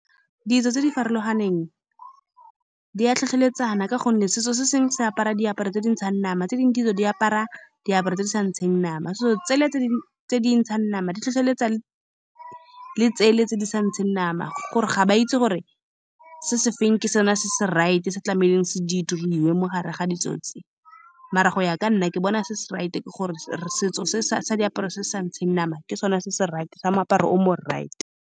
Ditso tse di farologaneng di a tlhotlheletsa, kana ka gonne setso se sengwe se apara diaparo tse di ntshang nama, tse dingwe ditso di apara diaparo tse di sa ntsheng nama. So, tsele tse tse di ntshang nama di tlhotlheletsa , le tsele tse di sa ntsheng nama gore ga ba itse gore se se feng ke sone se se right-e. Se tlamehile se di diriwe mogare ga ditso tse, mara go ya ka nna, ke bona se se right-e gore setso se sa diaparo se sa ntsheng nama ke sone se se right-e sa moaparo o mo right-e.